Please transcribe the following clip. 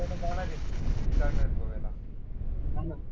जाणार आहे गोव्याला